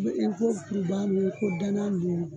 I ko kurubaga ninnu o i ko danan ninnu o